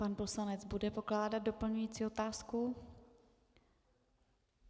Pan poslanec bude pokládat doplňující otázku.